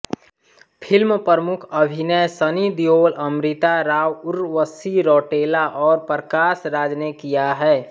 film प्रमुख अभिनय सनी देओल अमृता राव उर्वशी रौटेला और प्रकाश राज ने किया है